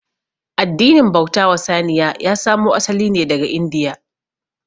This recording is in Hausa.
Addinin bauta wa saniya ya samo asali ne daga india